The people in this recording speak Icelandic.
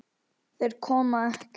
En þeir koma ekki.